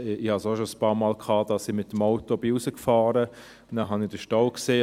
Es ist mir schon einige Male passiert, dass ich mit dem Auto hinausgefahren bin und dann den Stau sah.